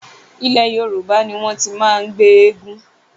Ilé Yorùbá ní wọ́n ti máa ń gbé eégún.